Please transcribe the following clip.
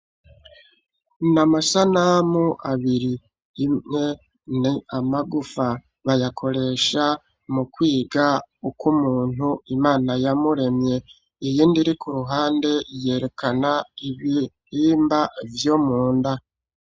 Ni amasanamu abiri, imwe ni amagufa, bayakoresha mu kwiga uko umuntu Imana yamuremye, iyindi iri ku ruhande yerekana ibihimba vyo munda.